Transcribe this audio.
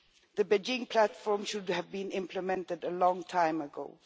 The Beijing Platform should have been implemented a long time ago.